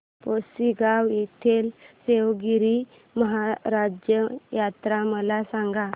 पुसेगांव येथील सेवागीरी महाराज यात्रा मला सांग